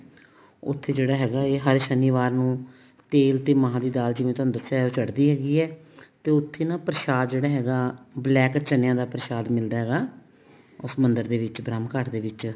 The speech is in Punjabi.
ਉੱਥੇ ਜਿਹੜਾ ਹੈਗਾ ਹੈ ਹਰ ਸ਼ਨੀਵਾਰ ਨੂੰ ਤੇਲ ਤੇ ਮਹਾਂ ਦੀ ਦਾਲ ਜਿਵੇਂ ਤੁਹਾਨੂੰ ਦੱਸਿਆ ਚੜਦੀ ਹੈਗੀ ਆ ਤੇ ਉੱਥੇ ਨਾ ਪ੍ਰਸ਼ਾਦ ਜਿਹੜਾ ਹੈਗਾ black ਚਨਿਆ ਦਾ ਪ੍ਰਸ਼ਾਦ ਮਿਲਦਾ ਹੈਗਾ ਉਸ ਮੰਦਿਰ ਦੇ ਵਿੱਚ ਬ੍ਰਹਮ ਘਾਟ ਦੇ ਵਿੱਚ